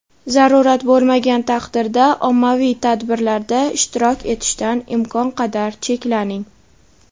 zarurat bo‘lmagan taqdirda ommaviy tadbirlarda ishtirok etishdan imkon qadar cheklaning!.